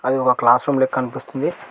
అది ఓ classroom లెక్క అనిపిస్తుంది.